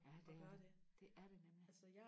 ja det er det det er det nemlig